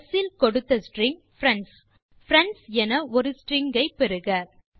ஸ் இல் கொடுத்த ஸ்ட்ரிங் friendஸ் பிரெண்ட்ஸ் என ஒரு ஸ்ட்ரிங் பெறுக